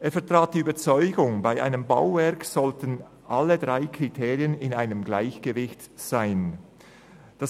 Er vertrat die Überzeugung, dass bei einem Bauwerk alle drei Prinzipien im Gleichgewicht stehen sollten.